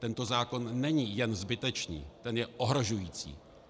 Tento zákon není jen zbytečný, ten je ohrožující.